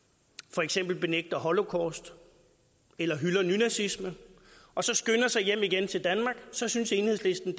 for eksempel benægter holocaust eller hylder nynazisme og så skynder sig hjem igen til danmark så synes enhedslisten